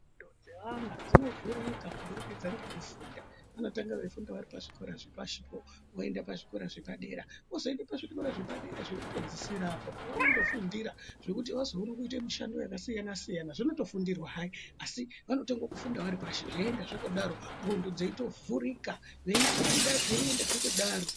Ndxondo dzevana dzinovhurika kuburikidza ngekufunda, vanotanga veifunda zvikora zvepashipo voenda pazvikora zvepadera , vozoende pazvikora zvepadera zvekupedzisira apo pavanonofundira , zvekuti vazoona kuita mishando yakasiyana siyana. Zvinotofundirwa hai asi vanotanga kufunda varipashi zveienda zvakadaro ndxondo dzeitovhurika , veifunda zveienda zvakadaro.